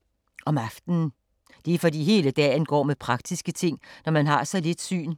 Om aftenen. Det er fordi hele dagen går med praktiske ting, når man har så lidt syn.